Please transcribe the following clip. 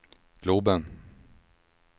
globen